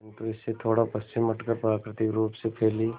किंतु इससे थोड़ा पश्चिम हटकर प्राकृतिक रूप से फैली